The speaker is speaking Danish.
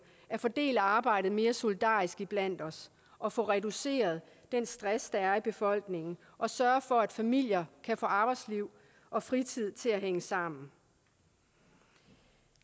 at fordele arbejdet mere solidarisk iblandt os og få reduceret den stress der er i befolkningen og sørge for at familier kan få arbejdsliv og fritid til at hænge sammen